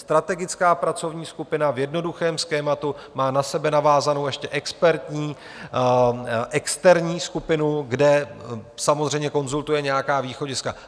Strategická pracovní skupina v jednoduchém schématu má na sebe navázanou ještě expertní externí skupinu, kde samozřejmě konzultuje nějaká východiska.